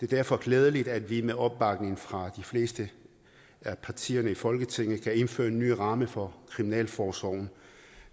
derfor glædeligt at vi med opbakning fra de fleste af partierne i folketinget kan indføre en ny ramme for kriminalforsorgen